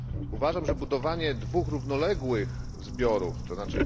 Uważam, że budowanie dwóch równoległych zbiorów, tzn.